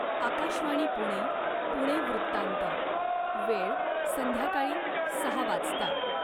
आकाशवाणी पुणे, पुणे वृत्तांत, वेळ संध्याकाळी सहा वाजता